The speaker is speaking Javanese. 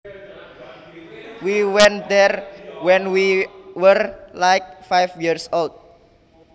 We went there when we were like five years old